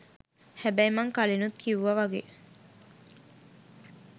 හැබැයි මං කලිනුත් කිව්වා වගේ